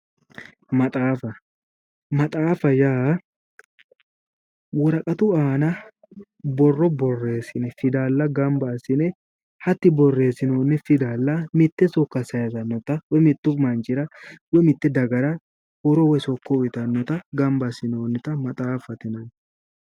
Maxaaffa, maxaaffate yaa woraqatu aana borro boreessine fidalla ganba assine hatti borreesinooni fidalla mitte sokka sayiisanota woy mittu manchira, woy mitte dagara horo woyi sokko uyiitanota ganba assinoonita maxaaffate yineemmo.